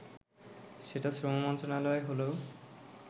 সেটা শ্রম মন্ত্রণালয়ে হলেও